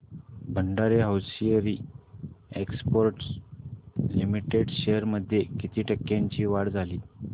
Bhandari hosiery exports limited shares मध्ये किती टक्क्यांची वाढ झाली